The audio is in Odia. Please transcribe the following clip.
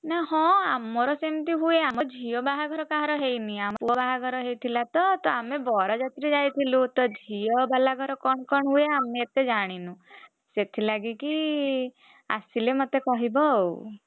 ନା ହଁ ଆମର ସେମିତି ହୁଏ। ଆମ ଝିଅ ବାହାଘର କାହାର ହେଇନି ପୁଅ ବାହାଘର ହେଇଥିଲା ତ ଆମେ ବରଯାତ୍ରୀ ଯାଇଥିଲୁ। ତ ଝିଅବାଲା ଘର କଣ କଣ ହୁଏ ଆମେ ଏତେ ଜାଣିନୁ ସେଥିଲାଗିକି ଆସିଲେ ମତେ କହିବ ଆଉ,